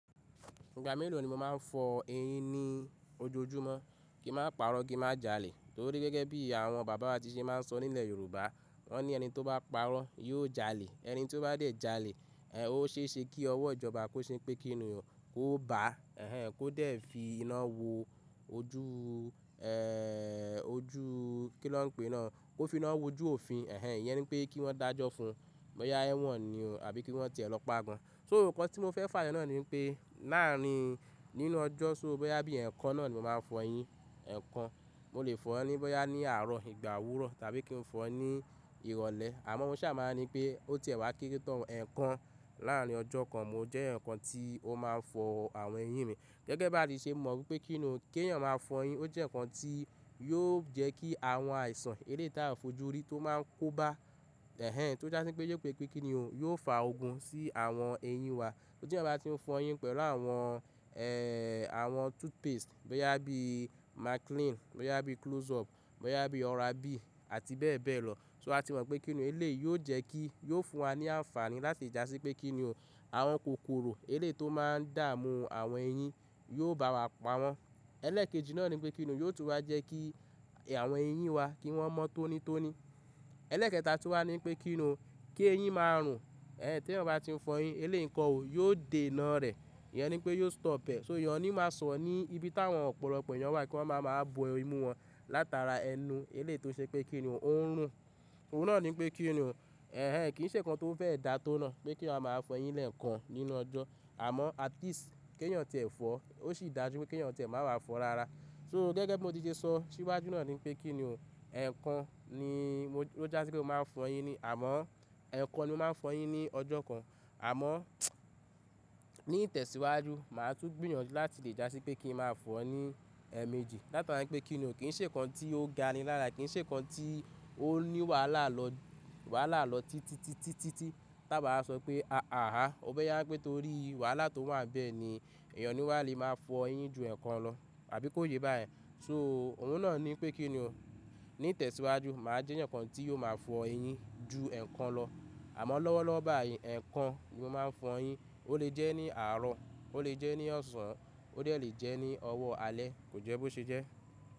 Ìgbà mélòó ni mo máa ń fọ eyín ní ojoojúmọ́? Kí má parọ́, ki má jalè. Torí gẹ́gẹ́ bí àwọn bàbá ti ṣe máa ń sọ nílẹ̀ Yorùbá, "wọ́n ní ẹni tó bá parọ́ yóò jalè." Ẹni tí ó bá dẹ̀ jalè, ó ṣe é ṣe kí ọwọ́ ìjọba kó ṣe pé kíni o, kó bà á, kó dẹ̀ fi iná wo ojú, ẹẹ́ ojú kí ló ń pè náà, kó fi iná wo ojú òfin, ìyẹn ni pé kí wọ́n dájọ́ fún, bóyá ẹ̀wọ̀n ni o àbí kí wọ́n ti ẹ̀ lọ pá gan-an. So, nǹkan tí mo fẹ́ fàyọ náà ni pé, láàárín nínú ọjọ́, so, bóyá bí ẹ̀ẹ̀kan náà ni mo máa fọ eyín, ẹ̀ẹ̀kan, mo lè fọ̀ ọ́ ní bóyá ní àárọ̀, ìgbà òwúrọ̀ tàbí kí n fọ̀ ọ́ ní ìrọ̀lẹ́. Àmọ́ mo ṣà máa ri pé ó ti ẹ̀ wá kéré tán ẹ̀ẹ̀kan láàrin ọjọ́ kan mo jẹ́ èyàn kan tí ó máa ń fọ àwọn eyín mi. Gẹ́gẹ́ bí a ti ṣe mọ̀ wí pé kíni o, kí èèyàn máa fọ eyín ó jẹ́ nǹkan tí yóò jẹ́ kí àwọn àìsàn eléyìí tá ò ń fojú rí tó máa ń kó bá, tó jásí pé jẹ́ pé kì í ṣe pé kíni o, yóò fa ogun sí àwọn eyín wa. Tí ẹ̀yàn bá ti ń fọ eyín pẹ̀lú àwọn, àwọn toothpaste bóyá bí Maclean, bóyá bí Close-up, bóyá bí OralB àti bẹ́ẹ̀ bẹ́ẹ̀ lọ. So, a ti mọ̀ pé kíni o? Eléyìí yóò jẹ́ kí, yóò fún wa ní àǹfààní láti le jásí pé kíni o? Àwọn kòkòrò eléyìí tó máa ń dààmú àwọn eyín yóò bá wa pa wọ́n. Ẹlẹ́ẹ̀kejì náà ni pé kíni o? Yóò tún wá jẹ́ kí àwọn eyín wa, kí wọ́n mọ́ tónítóní. Ẹlẹ́ẹ̀kẹta tún wá ni pé kíni o? Kí eyín máa rùn, tí ẹ̀yàn bá ti ń fọ eyín eléyìí ń kọ́ o? Yóò dé iná rẹ̀. Ìyẹn ni pé yóò stop ẹ̀. So èèyàn ni máa sọ̀rọ̀ ní ibi táwọn ọ̀pọ̀lọpọ̀ ẹ̀yàn wà kí wọ́n máa máa bo imú wọn látara ẹnu eléyìí tó ṣe pé kíni o? Ó ń rùn. Òun náà ni pé kíni ó? Kì í ṣe nǹkan tó fẹ́ da tó náà pé kí èèyàn máa a fọ eyín lẹ́ẹ̀kan nínú ọjọ́. Àmọ́, at least, kí ẹ̀yàn tí ẹ̀ fọ̀ ọ́, ó ṣì da ju wí pé kí èèyàn tí ẹ̀ máa wà á fọ rara. So, gẹ́gẹ́ bí mo ti ṣe sọ síwájú náà ni pé kíni o? Ẹ̀ẹ̀kan ni ó jásí pé mo máa fọ eyín ni, àmọ́ ẹ̀ẹ̀kan ni mo máa ń fọ eyín ní ọjọ́ kan. Àmọ́, ní ìtẹ̀síwájú mà á tún gbìyànjú láti lè jásí pé kí ń máa fọ ọ́ ní ẹ̀ẹ̀mejì látara pé kíni o? Kì í ṣe nǹkan tí ó ga ni lára, kì í ṣe ǹkan tí ó ní wàhálà lọ, wàhálà lọ títí-títí tí à bá máa sọ pé háà há, or bóyá pé torí wàhálà tó wà ńbẹ̀ ni èèyàn ò ní wá le máa fọ eyín ju ẹ̀ẹ̀kan lọ àbí kó yé bá yẹn. So, ohùn náà ni pé kíni o? Ní ìtẹ̀síwájú mà á jẹ́ èèyàn kan tí yóò máa fọ eyín ju ẹ̀ẹ̀kan lọ. Àmọ́, lọ́wọ́lọ́wọ́ báyìí ẹ̀ẹ̀kan ni mo máa ń fọ eyín. Ó lè jẹ́ ní àárọ̀, ó lè jẹ́ ní ọ̀sán, ó dẹ̀ lè jẹ́ ní ọwọ́ alẹ́, kò jẹ́ bó ṣe jẹ́.